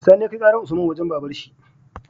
Sani ya kai karar usman wajan baban shi